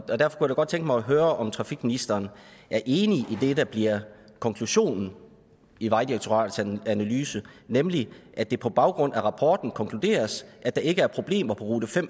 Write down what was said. jeg da godt tænke mig at høre om trafikministeren er enig i det der bliver konklusionen i vejdirektoratets analyse nemlig at det på baggrund af rapporten konkluderes at der ikke er problemer på rute fem